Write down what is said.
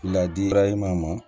Ladi